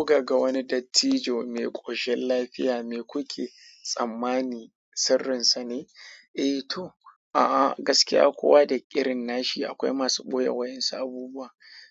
Muka ga wani dattijo mai ƙoshin lafiya mai kuke tsammani sirrinsa ne? Eh to, a'a gaskiya kuwa da irin nashi akwai masu ɓoye wayansu abubuwa.